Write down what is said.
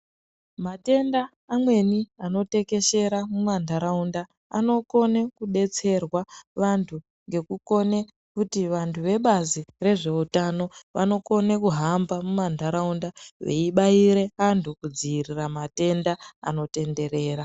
Matenda amweni anotekeshera mumandaraunda, anokone kudetserwa vantu, ngekukone kuti vantu vebazi rezveutano vanokone kuhamba mumandaraunda .Veyibayire antu kudziyirira matenda anotenderera.